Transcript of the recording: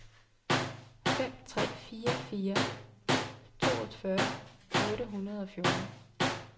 fem tre fire fire toogfyrre otte hundrede og fjorten